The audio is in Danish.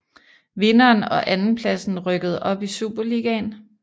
Vinderen og andenpladsen rykkede op i Superligaen